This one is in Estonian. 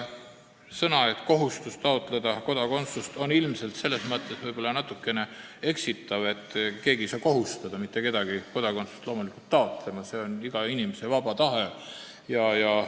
Sõnad "kohustus taotleda kodakondsust" on ilmselt natukene eksitavad, sest keegi ei saa loomulikult mitte kedagi kohustada kodakondsust taotlema – see on iga inimese vaba tahe.